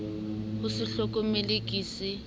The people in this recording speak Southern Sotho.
ho se hlokomele ke se